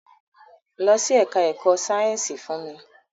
Lọ sí ẹka ẹ̀kọ́ sáyẹnsì fún mi!